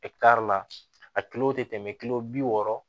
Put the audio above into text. la a kilo tɛ tɛmɛ kilo bi wɔɔrɔ